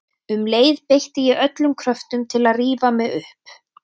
Um leið beitti ég öllum kröftum til að rífa mig upp.